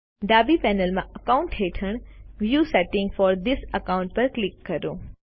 ડાબી પેનલ માં અકાઉન્ટ્સ હેઠળ view settings for this account પર ક્લિક કરો